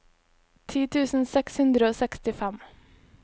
ti tusen seks hundre og sekstifem